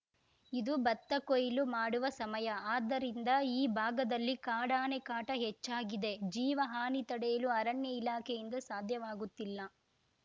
ಇದು ಭತ್ತ ಕೊಯ್ಲು ಮಾಡುವ ಸಮಯ ಆದ್ದರಿಂದ ಈ ಭಾಗದಲ್ಲಿ ಕಾಡಾನೆ ಕಾಟ ಹೆಚ್ಚಾಗಿದೆ ಜೀವಹಾನಿ ತಡೆಯಲು ಅರಣ್ಯ ಇಲಾಖೆಯಿಂದ ಸಾಧ್ಯವಾಗುತ್ತಿಲ್ಲ